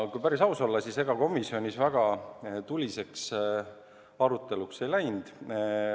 Kui päris aus olla, siis ega komisjonis väga tuliseks aruteluks ei läinud.